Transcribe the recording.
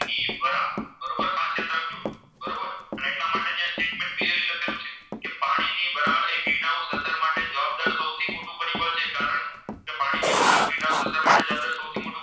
એ Green House અસરદાર સૌથી મોટું પરિબળ જે કારણ કે પાણીની વરાળ Green House માટે સૌથી